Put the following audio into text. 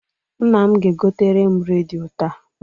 Nna m ga-egotere m redio taa.